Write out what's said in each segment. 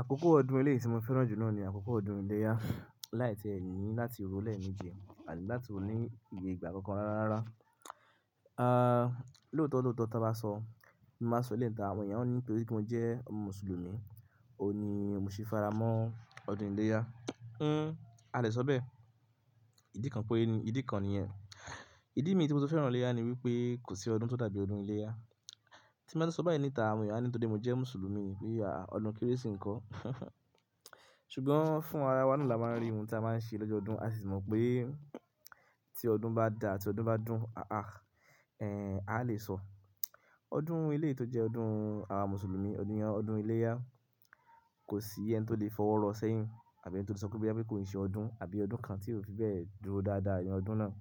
Àkókò ọdún eléyi tí mo fẹ́ràn jù nọ ni àkókò ọdún iléyá. Láì tí ẹ̀yin ni láti ro lẹ́me ìjẹ àbí láti ò ní ìyé ìgbà kankan rárá. Ah, lóòótọ́ lóòótọ́ tí a bá sọ, máa sọ lẹ́ta àwọn èèyàn ó ní pé torí pé mo jẹ́ Mùsùlùmí, òun ní òun sì fara mọ́ ọdún iléyá. Hmm, a lè sọ bẹ́ẹ̀. Ìdí kan pé ni, ìdí kan ni ẹ́. Ìdí mi tí mo ti fẹ́ràn iléyá ni wípé kò sí ọdún tó dàbí ọdún iléyá. Tí m bá sọ báyìí níta àwọn èèyàn á ní pé torí pé mo jẹ́ Mùsùlùmí ni pé à, ọdún Kérésì nko ṣùgbọ́n fún ara wa ni a máa ń rí ohun tí a máa ń ṣe lọ́jọ ọdún a sì mọ̀ pé tí ọdún bá dà, tí ọdún bá dùn, ah ah, eh, a lè sọ. Ọdún ilé tó jẹ́ ọdún àwọn Mùsùlùmí, ọdún yan, ọdún iléyá kò sí ẹni tó lè fọwọ́ rọ sẹ́yìn àbí ẹni tó lè sọ pé bí i bá kò ṣe ọdún àbí ọdún kan tí yóò fi bẹ́ẹ̀ dúró dáadáa yẹn ọdún náà.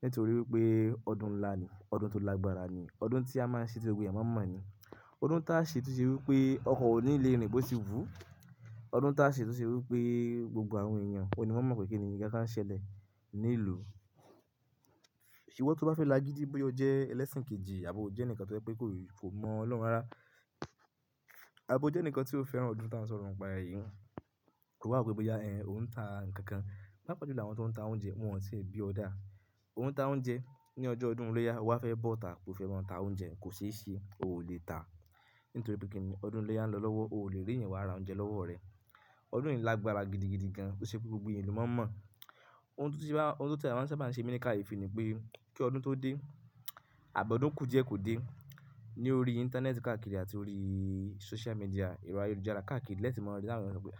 Nítorí wípé ọdún ńlá ni, ọdún tó lágbára ni, ọdún tí a máa ń ṣe tí gbogbo èèyàn máa mọ̀ ni. Ọdún táa ṣe tó ṣe wípé ọkọ̀ òníléèrin bò sì wú. Ọdún táa ṣe tó ṣe wípé gbogbo àwọn èèyàn, òun ni wọ́n mọ̀ pé kíni nnkànkan ṣẹlẹ̀ ní ìlú. Ṣé ìwọ tó bá fẹ́ lágidí boya o jẹ́ ẹlẹ́sìn kejì àbí o jẹ́ ẹnìkan tó jẹ́ pé kò, kò mọ Ọlọ́run rárá. Àbí o jẹ́ ẹnìkan tí ó fẹ́ràn ọdún táa ń sọ̀rọ̀ ń pa èyí, ó wá pé bóyá ẹ́, òun ń tà nkankan. Paapáà jùlọ àwọn tó ń ta oúnjẹ wọ́n ò tí ì bí ọ́ dà. Òun tá oúnjẹ ní ọjọ́ ọdún iléyá, ó wá fẹ́ bọ́ta bó fẹ́ máa ń ta oúnjẹ kò ṣe é ṣe, ó ò lè tà. Nítorí pé kíni ọdún iléyá ń lọ lọ́wọ́, ò lè rí eeyàn wára oúnjẹ lọ́wọ́ rẹ. Ọdún yìí lágbára gidigidi gan, ó ṣe pé gbogbo ènìyàn ló mọ̀ mọ̀. Ohun tó ti bá, ohun tó tẹ̀e máa ń sábà ń ṣe mi ní káyefi ni pé kí ọdún tó dé àbọ̀ ọdún kù díẹ̀ kò dé. Ní orí Íńtánẹ́ẹ̀tì káàkiri àti orí social media, ero àyelujara káàkiri lẹ́tí mọ́ ọ̀rẹ́ náà pé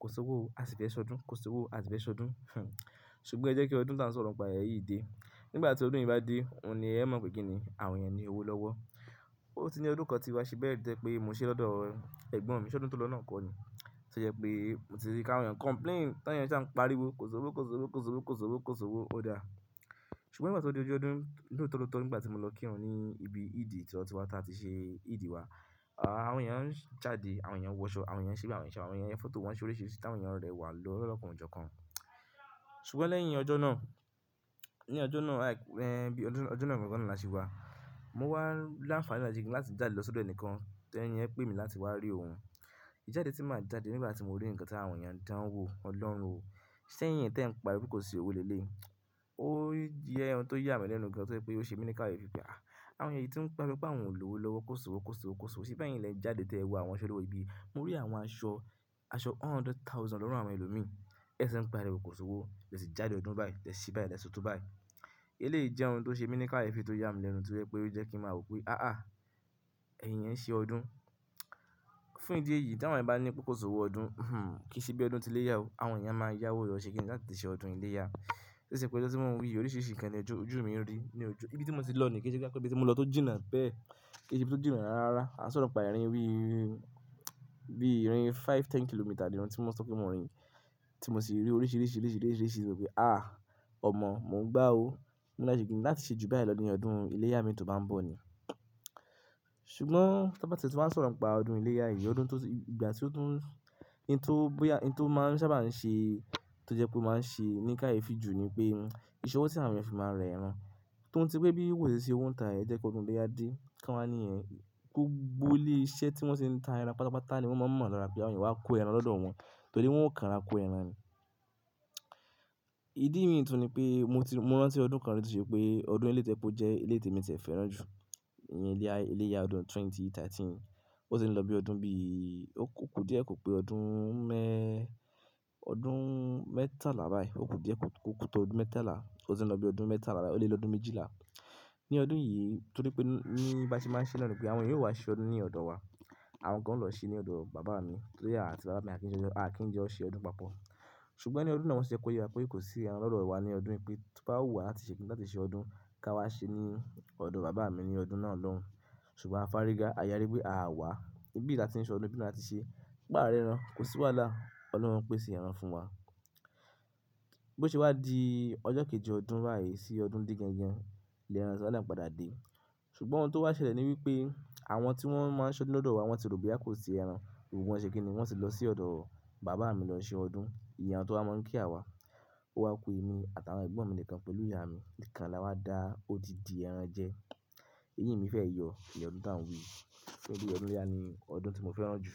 kò sí owó, a sì fẹ́ ṣọdún, kò sí owó a sì fẹ́ ṣọdún. Ṣùgbọ́n ẹ jẹ́ kí ọdún táa ń sọ̀rọ̀ ń pa èyí dé. Nígbà tí ọdún yìí bá dé, òun ni ẹ mọ̀ pé kíni àwọn èèyàn ni owó lọ́wọ́. Ó ti ní odunkọ tí wá ṣe bẹ́ẹ̀ jẹ́ pé mo ṣe lọ́dọ̀ ẹ̀gbọ́n mi ṣọdún tó lọ náà kọ́ ni. Ṣé jẹ́ pé mo ti rí káwọn èèyàn complain táyà ń ṣe à ń pariwo kò sowó, kò sowó, kò sowó, kò sowó, kò sowó, ó dà. Ṣùgbọ́n nígbà tí ó dé ojú ọdún lọ tó lọ tọ, nígbà tí mo lọ kírun ní ibi Eid tí ọtí wá tá tí ṣe Eid wa, ah, àwọn èèyàn ń jáde, àwọn èèyàn ń wọ aṣọ, àwọn èèyàn ń ṣí bí àwọn ń ṣe, àwọn èèyàn ń foto wọn sórí ṣìrisi, tí àwọn èèyàn rẹwà lọ lọ́kàn ọ̀jọ̀ kan. Ṣùgbọ́n lẹ́yìn ọjọ́ náà, ní ọjọ́ náà like, eh, bí ọjọ́ náà kankan lọ́la ṣe wá, mo wá lááfàlá lájú kí n láti jáde lọ sódò ẹnìkan tí ẹni yẹn pé mi láti wá rí òun. Ìjáde tí màá jáde nígbà tí mo rí ǹkan tí àwọn èèyàn dáwo Ọlọ́run o, ṣé ìyẹn tí ẹ ń pariwo kò sí owó lé lé. Ó yẹ ohun tó yà mí lẹ́nu gan tí ó jẹ́ pé ó ṣe mi ní káyfí pé à, àwọn èyí tí ń pa mi pa àwọn òlówó lọ́wọ́ kò sí owó, kò sí owó, kò sí owó síbẹ̀ yín lẹ́jáde tí ẹ wá àwọn aṣọ lọ́wọ́ ibi. Mo rí àwọn aṣọ, aṣọ hundred thousand lọ́rùn àwọn ẹlòmí. Ẹṣẹ ẹ ń pariwo kò sí owó, tẹ̀ sí jáde ọdún báyìí, tẹ̀ sí báyìí, tẹ̀ sọ̀tọ̀ báyìí. Eléyìí jẹ́ ohun tó ṣe mi ní káyefí tó yà mí lẹ́nu tí ó yẹ́ pé ó jẹ́ kí màá rò pé àáà, ẹ̀yin yẹn ń ṣe ọdún. Fún ìdí èyí tí àwọn èèyàn bá ní pé kò sí owó ọdún, hm hm, kì í ṣe bí ọdún tí iléyá o. Àwọn èèyàn máa yáwó rọ sé kí n láti ṣe ọdún iléyá. Ó ṣe pé kí ẹ tí wọ́n wí oríṣiríṣi ìkànnì ojú, ojú mi ń rí ní ojú. Ibi tí mo ti lọ ni kì í ṣe pé kí n tó gbé ti mo lọ tó jìnnà bẹ́ẹ̀. Kì í ṣe bí ó ti jìnà rárá. A sọ̀rọ̀ pa irẹrin wí bí irin five, ten kilometer nìran tí mo ti sọ pé mo rìn, tí mo sì rí oríṣiríṣi oríṣiríṣi oríṣiríṣi pé ah, ọmọ mo ń gbá o. Láàise kí ni láti ṣe ju báyìí lọ ni ọdún iléyá mi tó bá ń bọ̀ ni. Ṣùgbọ́n ta bá teti ṣe bá ń sọ̀rọ̀ ń pa ọdún iléyá yìí, ọdún tó ti, ìgbà tí ó dùn, i tó bóyá, i tó máa ń sábà ń ṣe, tó jẹ́ pé ó máa ń ṣe ní káyefí jù ni pé ìṣọwọ́ tí àwọn èèyàn fi máa rẹ ẹran. Tó ti pé bí wòṣe ṣe òun ń tà ẹ jẹ́ kí ọdún iléyá dé, kí wọ́n máa ní ẹ̀, gbogbo ilé iṣẹ́ tí wọ́n ṣe ń tà ẹran pátápátá ni wọ́n máa ń mọ̀ lọ́ra bí àwọn èèyàn wá kó ẹran lọ́dọ̀ wọn. To wọ́n o kàn rá kó ẹran ni. Ìdí mi tuní pé mo ti, mo rán tí ọdún kan rí tí ṣe pé ọdún ilé tí ẹ kú jẹ́ ilé tí èmi ti fẹ́ràn jù. Ìyẹn iléyá, iléyá ọdún ẹgbẹ̀rún méjì ó lé mẹ́tàlá. Ó sì ń lọ bí ọdún bí, ó kò díẹ̀ kò pé ọdún mẹ́, ọdún mẹ́tà lábáyìí. Ó kò díẹ̀ kò kú tó ọdún mẹ́tàlá. Ó sì ń lọ bí ọdún mẹ́tàlá, ó lé lọ́dun méjìlá. Ní ọdún yìí torí pé ní bá ti máa ń ṣe náà ni pé àwọn èèyàn yóò wá ṣe ọdún ní ọ̀dọ̀ wa. Àwọn kan ń lọ ṣe ní ọ̀dọ̀ bàbá mi, torí àti bàbá mi Akinjẹ, Akinjó ṣe ọdún papọ̀. Ṣùgbọ́n ní ọdún náà wọ́n ṣe kọ́ yẹ wá pé kò sí ẹran lọ́dọ̀ wa ní ọdún yìí pé tí bá ò wá láti ṣe kí n láti ṣe ọdún ká wá ṣe ní ọ̀dọ̀ bàbá mi ní ọdún náà lóhùn. Ṣùgbọ́n a fariga, a yari pé a wà, ibi tí a ti ń ṣe ọdún bí láà ti ṣe, bá rẹ́ran, kò sí wàhálà. Ọlọ́run pèsè ẹran fún wa. Bí ó ṣe wá di ọjọ́ kejì ọdún báyìí ti odun de gangan sugbonb ohun to wa sele niwipe awon ti won maa se odun lodowa won ti ro boya ko si eran won se kini, won ti lo si odo baba mi lo se odun iyen awon to wa mon ki awa o wa ku emi ati awon egbon mi nikan pelu iya mi nikan la wa da odindi eran je, eyin mife yo ni odun taa n wi yi.